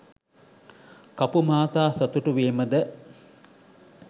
කපු මහතා සතුටු වීමද